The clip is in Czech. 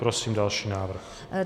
Prosím další návrh.